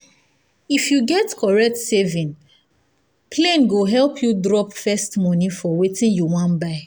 if you get correct saving plane go help you drop first money for wetin you wan buy.